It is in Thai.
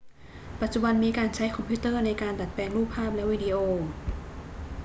ปัจจุบันมีการใช้คอมพิวเตอร์ในการดัดแปลงรูปภาพและวิดีโอ